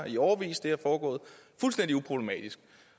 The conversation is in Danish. i årevis det har foregået fuldstændig uproblematisk